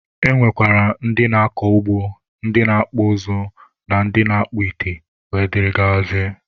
E nwekwara ndị na-akọ ugbo, ndị na-akpụ ụzụ, ndị na-akpụ ite wdg.